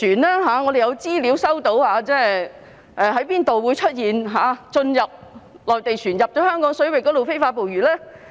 根據我們接獲的資料，內地船隻曾進入哪些香港水域非法捕魚呢？